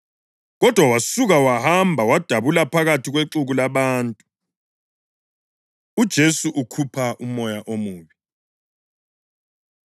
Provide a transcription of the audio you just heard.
Kodwa wasuka wahamba wadabula phakathi kwexuku labantu. UJesu Ukhupha Umoya Omubi